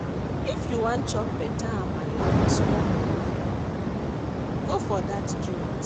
If you wan chop beta Amala wit small monie, go for dat joint.